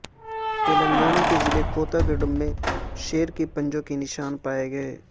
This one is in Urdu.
تلنگانہ کے ضلع کوتہ گوڑم میں شیر کے پنجوں کے نشان پائے گئے